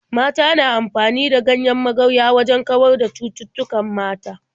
Mata na amfani da ganyen magarya wajen kawar da cututtukan mata.